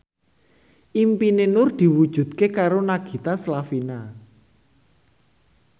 impine Nur diwujudke karo Nagita Slavina